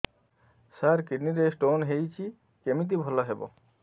ସାର kidney ରେ stone ହେଇଛି କମିତି ଭଲ ହେବ